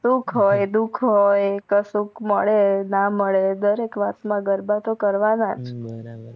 સુખ હોય દુખ હોય કસૂક મેડ ના મેડ દરેક વાત મા ગરબા તો કરવનાજ